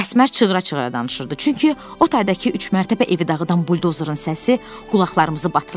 Əsmər çığıra-çığıra danışırdı, çünki o taydakı üçmərtəbə evi dağıdan buldozerin səsi qulaqlarımızı batırırdı.